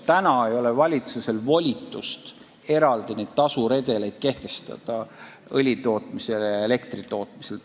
Praegu ei ole valitsusel volitust kehtestada õlitootmisele ja elektritootmisele eraldi tasuredelit.